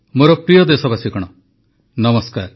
ମୋର ପ୍ରିୟ ଦେଶବାସୀଗଣ ନମସ୍କାର